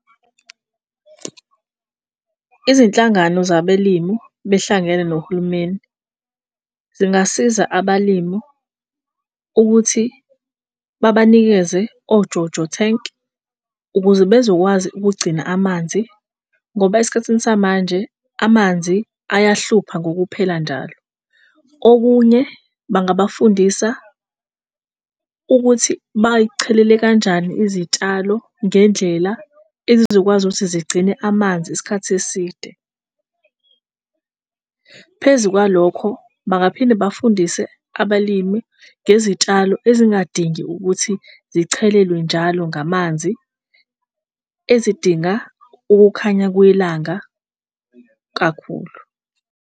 Izinhlangano zabelimu behlangene nohulumeni zingasiza abalimu ukuthi babanikeze ojojo thenki ukuze bezokwazi ukugcina amanzi ngoba esikhathini samanje amanzi ayahlupha ngokuphela njalo. Okunye bangabafundisa ukuthi bay'chelele kanjani izitshalo ngendlela ezizokwazi ukuthi zigcine amanzi isikhathi eside. Phezu kwalokho bangaphinde bafundise abalimi ngezitshalo ezingadingi ukuthi zichelelwe njalo ngamanzi ezidinga ukukhanya kwelanga kakhulu.